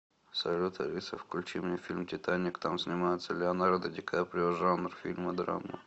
салют алиса включи мне фильм титаник там снимается леонардо ди каприо жанр фильма драма